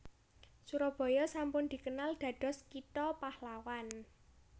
Surabaya sampun dikenal dados kitha pahlawan